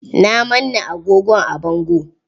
Na manna agogon a bango.